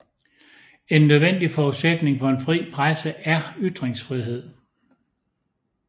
En nødvendig forudsætning for en fri presse er ytringsfrihed